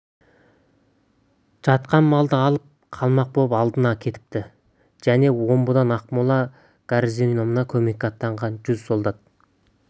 жатқан малды алып қалмақ боп алдынан кетіпті және омбыдан ақмола гарнизонына көмекке аттанған жүз солдат